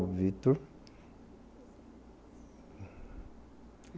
O Victor.